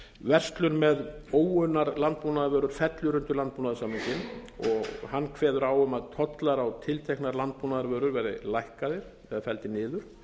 verslun með óunnar landbúnaðarvörur fellur undir landbúnaðarsamninginn og hann kveður á um að tollar á tilteknar landbúnaðarvörur verði lækkaðir eða felldir niður